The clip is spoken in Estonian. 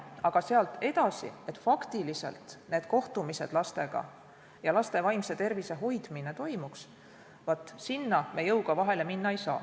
Aga sinna, kas faktiliselt need kohtumised lastega ja laste vaimse tervise hoidmine toimub, me jõuga vahele minna ei saa.